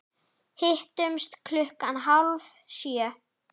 Hittumst klukkan hálf sjö.